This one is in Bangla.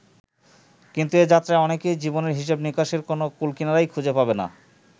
কিন্তু এ যাত্রায় অনেকেই জীবনের হিসাব-নিকাশের কোনো কূল-কিনারাই খুঁজে পাবে না।